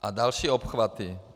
A další obchvaty.